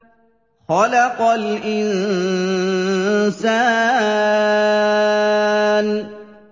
خَلَقَ الْإِنسَانَ